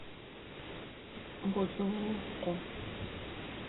бузулуку